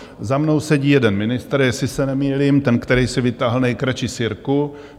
Za mnou sedí jeden ministr , jestli se nemýlím, ten, který si vytáhl nejkratší sirku.